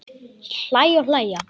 Hlæja og hlæja.